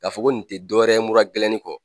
K'a fɔ ko nin tɛ dɔ wɛrɛ ye mura gɛlɛnni kɔ,